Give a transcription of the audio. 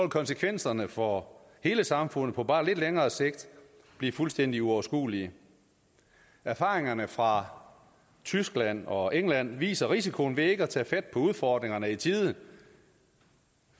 konsekvenserne for hele samfundet på bare lidt længere sigt blive fuldstændig uoverskuelige erfaringerne fra tyskland og england viser risikoen ved ikke at tage fat på udfordringerne i tide